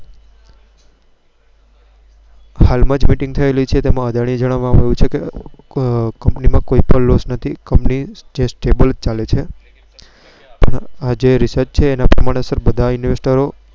હાલમાં Miting થયેલી છે. તેમાં અદાણીએ જણાવવામાં આવ્યું છે કે Company માં કોઈપણ Loss નથી. કંપની Stable ચાલે છે. આ જે Reach છે તે ના પ્રમાણે બધ Investro